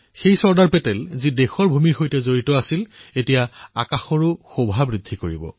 চৰ্দাৰ পেটেল যি মাটিৰ সৈতে জড়িত আছিল তেওঁ এতিয়া আকাশৰ শোভাবৰ্ধন কৰিব